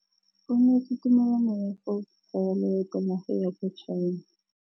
O neetswe tumalanô ya go tsaya loetô la go ya kwa China.